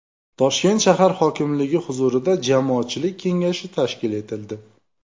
Toshkent shahar hokimligi huzurida Jamoatchilik kengashi tashkil etildi.